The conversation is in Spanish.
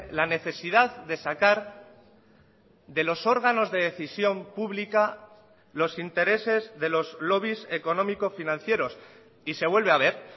la necesidad de sacar de los órganos de decisión pública los intereses de los lobbies económico financieros y se vuelve a ver